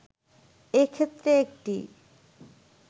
এ ক্ষেত্রে একটি